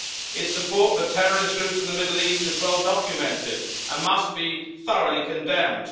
Its support for terrorist groups in the Middle East is well documented and must be thoroughly condemned.